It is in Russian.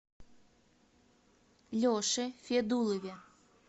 леше федулове